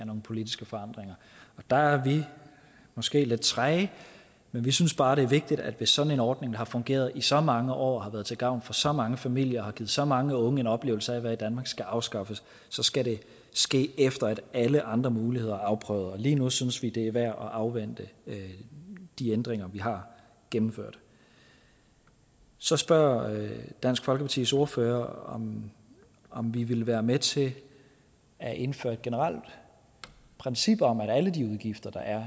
nogle politiske forandringer der er vi måske lidt træge men vi synes bare det er vigtigt at hvis sådan en ordning der har fungeret i så mange år og har været til gavn for så mange familier og har givet så mange unge en oplevelse af at være i danmark skal afskaffes så skal det ske efter at alle andre muligheder er afprøvet lige nu synes vi det er værd at afvente de ændringer vi har gennemført så spørger dansk folkepartis ordfører om vi vil være med til at indføre et generelt princip om at alle de udgifter der er